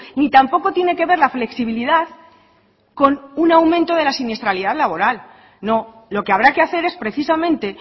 ni tampoco tiene que ver la flexibilidad con un aumento de la siniestralidad laboral no lo que habrá que hacer es precisamente